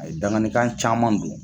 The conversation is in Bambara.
A ye danganikan caman don.